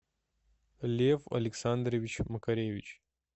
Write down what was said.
лев александрович макаревич